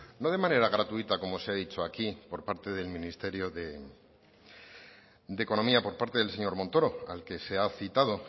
no de manera gratuita como se ha dicho aquí por parte del ministerio de economía por parte del señor montoro al que se ha citado